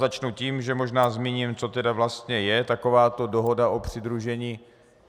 Začnu tím, že možná zmíním, co tedy vlastně je takováto dohoda o přidružení.